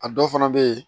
A dɔw fana bɛ yen